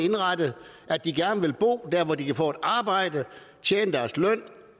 at de gerne vil bo der hvor de kan få et arbejde tjene deres løn